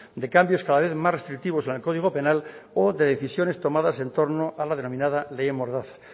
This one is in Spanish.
de cambios cada vez más restrictivos en el código penal o de decisiones tomadas en torno a la denominada ley mordaza